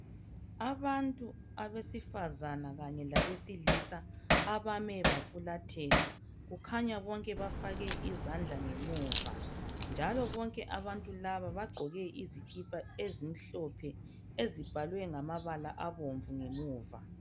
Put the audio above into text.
Abantu abesifazane kanye labesilisa abame bafulathela kukhanya bonke bafake izandla ngemuva njalo bonke abantu laba bagqoke izikipa ezimhlophe ezibhalwe ngamabala abomvu ngemuva.